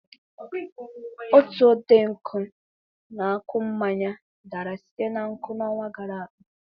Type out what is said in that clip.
Otu ọtenkwụ na-akụ mmanya dara site na nkwụ n'ọnwa gara aga.